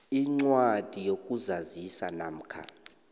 incwadi yokuzazisa namkha